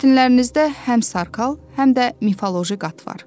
Mətnlərinizdə həm sarkal, həm də mifoloji qat var.